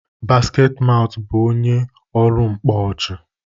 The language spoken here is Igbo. Basketmaut bụ onye ọrụ mkpọ ọchị.